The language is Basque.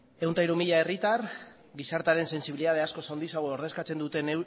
ehun eta hiru mila herritar gizartearen sensibilidade askoz handiagoa ordezkatzen duten